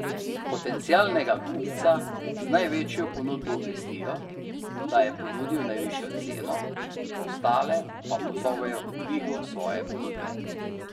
Potencialnega kupca z največjo ponudbo obvestijo, da je ponudil najvišjo ceno, ostale pa pozovejo k dvigu svoje ponudbe.